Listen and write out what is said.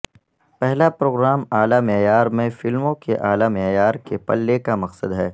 پہلا پروگرام اعلی معیار میں فلموں کے اعلی معیار کے پلے کا مقصد ہے